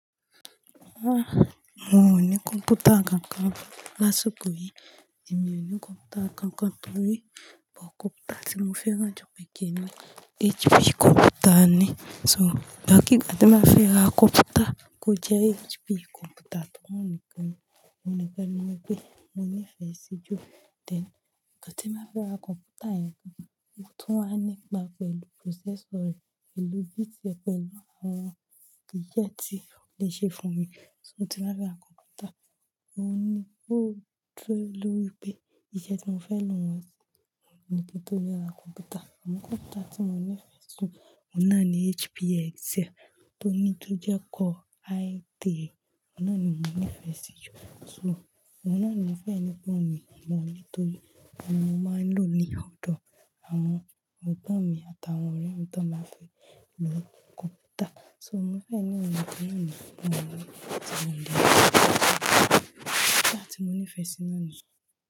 Ah! Mi o ní kọ̀mpútà kankan lásìkò yìí, èmi ò ní kọ̀mpútà kankan torí bo kọ̀mpútà tí mo fẹ́ ra ju bẹ́ẹ̀ kẹ́ni HP kọ̀mpútà ni. So, ìgba kì ìgbà tí n báa fẹ́ ra kọ̀mpútà, kò jẹ́ HP kọ̀mpútà tó wà nìkan ni, mo ní pẹ̀ lówó pé mo nífẹ̀ẹ́ sí ju. Then ìgbà tí máa fẹ́ ra kọ̀mpútà yẹn, ohun tó wà nípa pẹ̀lú processor rẹ̀ pẹ̀lú bit rẹ̀ pẹ̀lú àwọn ìṣẹ̀ tí ó lè ṣe fún mi. So tí máa fẹ́ ra kọ̀mpútà, mo ní kó dẹ́ lórí pé ìṣẹ̀ tí mo fẹ́ lò wọ́n sí, mo ní kí n tó rá kọ̀mpútà. Àmo kọ̀mpútà tí mo nífẹ̀ẹ́ si jù, oun nà ni HP Excel tó ní tó jẹ́ kó i3. Oun nà ni mo nífẹ̀ẹ́ sí jù. So. Oun nà ni mo fẹ́ nígbà wo mi mọ̀ nítorí ọ̀nà mo máa ń lò ní ọ̀dọ̀ àwọn egbọ́n mi àtàwọn ọ̀rẹ́ mi tí wọ́n máa ń fi lò kọ̀mpútà. So mo fẹ́ nígbà wo mi mọ̀ nítorí ọ̀nà tí mo ń lò. Kọ̀mpútà tí mo nífẹ̀ẹ́ sí náà ni.